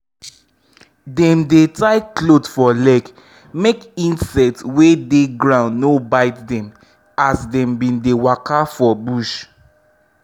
dem dey tie cloth for leg make insects wey dey ground no bite dem as dem bin dey waka for bush.